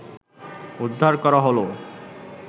উদ্ধার করা হলো